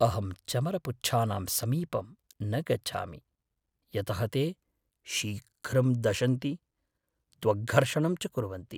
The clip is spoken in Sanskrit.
अहं चमरपुच्छानां समीपं न गच्छामि यतः ते शीघ्रं दशन्ति, त्वग्घर्षणं च कुर्वन्ति।